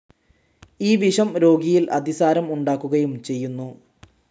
ഈ വിഷം രോഗിയിൽ അതിസാരം ഉണ്ടാക്കുകയും ചെയ്യുന്നു.